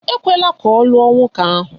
Ekwela ka ọ lụọ nwoke ahụ.